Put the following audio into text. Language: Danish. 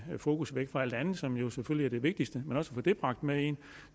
fokus væk fra alt det andet som jo selvfølgelig er det vigtigste